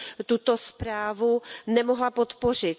tuto zprávu nemohla podpořit.